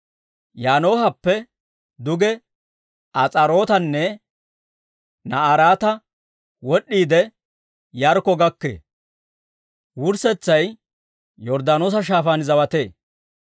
Yaanoohappe duge As'aarootanne Na'araata wod'd'iide, Yaarikko gakkee; wurssetsay Yorddaanoosa Shaafaan zawatee.